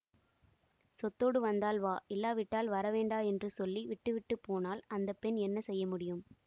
சொத்தோடு வந்தால் வா இல்லாவிட்டால் வரவேண்டா என்று சொல்லி விட்டுவிட்டு போனால் அந்த பெண் என்ன செய்யமுடியும்